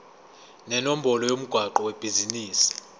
nenombolo yomgwaqo webhizinisi